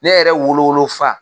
Ne yɛrɛ wolo wolofa